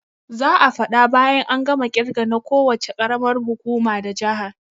Za'a faɗa bayan an gama kirge na ko wuce karamar hukuma da jaha